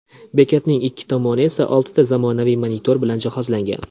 Bekatning ikki tomoni esa oltita zamonaviy monitor bilan jihozlangan.